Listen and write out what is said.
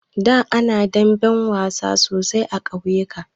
Da ana yin damben wasa sosai a ƙauyuka.